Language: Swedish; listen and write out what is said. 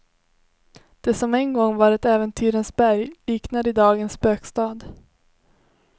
Det som en gång var ett äventyrens berg liknar idag en spökstad.